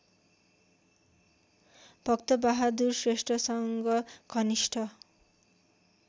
भक्तबहादुर श्रेष्ठसँग घनिष्ठ